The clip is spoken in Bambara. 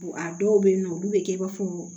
A dɔw bɛ yen nɔ olu bɛ kɛ i b'a fɔ